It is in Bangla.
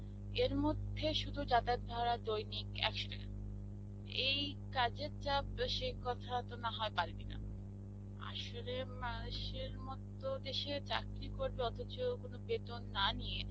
এরমধ্যে শুধু যাতায়াত ভাড়া দৈনিক একশ টাকা. এই কাজের চাপ বেশী কথা তো নাহয় পারবি না. আসলে মানুষের মত দেশে চাকরী করবে অথছ কোনো বেতন না নিয়ে